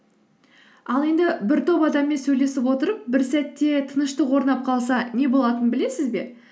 ал енді бір топ адаммен сөйлесіп отырып бір сәтте тыныштық орнап қалса не болатынын білесіз бе